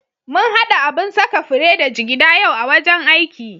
Mun haɗa abun saka fure da jigida yau a wajen aiki.